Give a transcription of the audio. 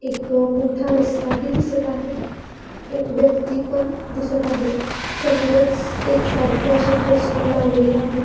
एक मोठा रस्ताही दिसत आहे एक व्यक्ति पण दिसत आहे समोरच एकसारखे असे पोस्टर लावलेले आहेत.